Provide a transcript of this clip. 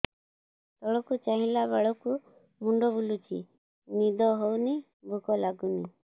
ତଳକୁ ଚାହିଁଲା ବେଳକୁ ମୁଣ୍ଡ ବୁଲୁଚି ନିଦ ହଉନି ଭୁକ ଲାଗୁନି